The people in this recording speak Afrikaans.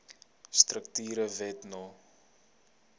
strukture wet no